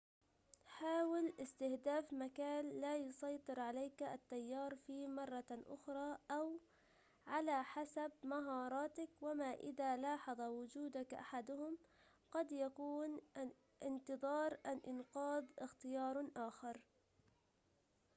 حاول استهداف مكان لا يسيطر عليك التيار فيه مرة أخرى أو على حسب مهاراتك وما إذا لاحظ وجودك أحدهم قد يكون انتظار الإنقاذ اختيار آخر